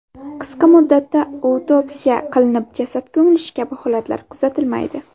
Qisqa muddatda autopsiya qilinib jasad ko‘milishi kabi holatlar kuzatilmaydi.